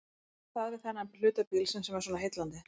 Hvað er það við þennan hluta bílsins sem er svona heillandi?